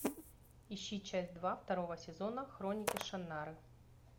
ищи часть два второго сезона хроники шаннары